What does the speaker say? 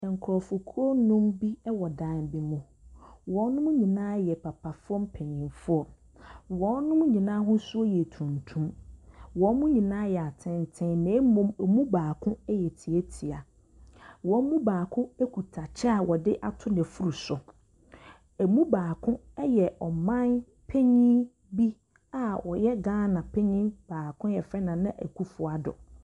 Nkurɔfokuo nnum bi wɔ dan bi mu. Wɔn nyinaa yɛ papafoɔ mpanimfoɔ. Wɔn nyinaa ahosuo yɛ tuntum. Wɔn nyinaa yɛ atenten na mmom wɔn mu baako yɛ tiatia. Wɔn mu baako kuta kyɛ a wɔde ato n'afuru so. Ɛmu baako yɛ ɔmanpanin bi a ɔyɛ Ghana panin baako a wɔfrɛ no Nana Akuffo Addo.